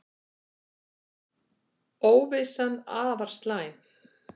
Óvissan afar slæm